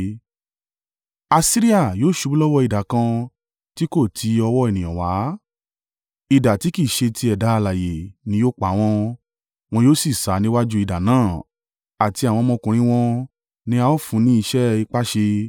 “Asiria yóò ṣubú lọ́wọ́ idà kan tí kò ti ọwọ́ ènìyàn wá; idà tí kì í ṣe ti ẹ̀dá alààyè ni yóò pa wọ́n. Wọn yóò sì sá níwájú idà náà àti àwọn ọmọkùnrin wọn ni a ó fún ní iṣẹ́ ipá ṣe.